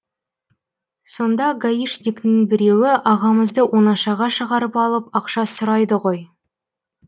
сонда гаишниктің біреуі ағамызды оңашаға шығарып алып ақша сұрайды ғой